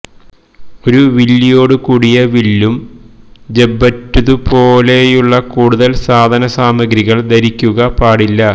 ഒരു വില്ലിയോടു കൂടിയ വില്ലും ജബറ്റുതുപോലെയുള്ള കൂടുതൽ സാധന സാമഗ്രികൾ ധരിക്കുക പാടില്ല